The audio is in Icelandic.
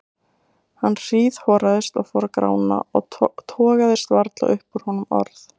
Hann hríðhoraðist og fór að grána og togaðist varla upp úr honum orð.